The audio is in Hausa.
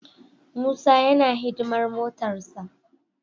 Musa yana hidimar motarsa.